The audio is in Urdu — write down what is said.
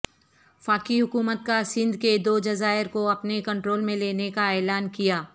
فاقی حکومت کا سندھ کےدو جزائر کو اپنے کنٹرول میں لینے کا اعلان کیا